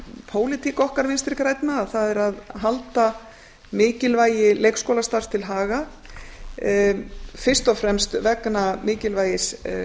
pólitík okkar vinstri grænna að halda mikilvægi leikskólastarfs til haga fyrst og fremst vegna mikilvægis